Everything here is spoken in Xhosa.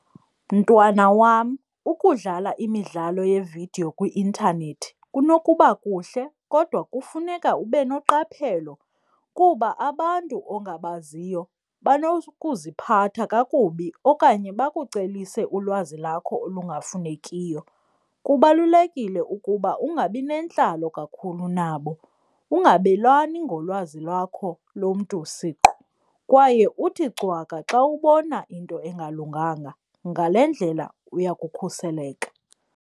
Mntwana wam, ukudlala imidlalo yeevidiyo kwi-intanethi kunokuba kuhle kodwa kufuneka ube noqaphelo kuba abantu ongabaziyo banokuziphatha kakubi okanye bakucelise ulwazi lakho olungafunekiyo. Kubalulekile ukuba ungabi nentlalo kakhulu nabo, ungabelani ngolwazi lwakho lomntu siqu, kwaye uthi cwaka xa ubona into engalunganga. Ngale ndlela uya kukhuseleka.